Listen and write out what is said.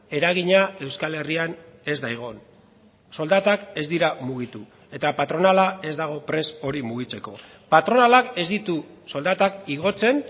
eragina euskal herrian ez da egon soldatak ez dira mugitu eta patronala ez dago prest hori mugitzeko patronalak ez ditu soldatak igotzen